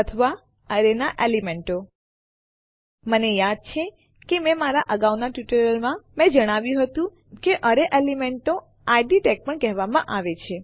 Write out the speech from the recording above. અથવા એરેના એલિમેન્ટો મને યાદ છે કે મારા અગાઉના ટ્યુટોરિયલ્સમાં મેં જણાવ્યું હતું કે એરેના એલિમેન્ટોને ઇડ ટેગ્સ પણ કહેવામાં આવે છે